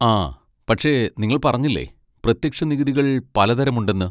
ആ, പക്ഷെ നിങ്ങൾ പറഞ്ഞില്ലേ പ്രത്യക്ഷ നികുതികൾ പലതരം ഉണ്ടെന്ന്?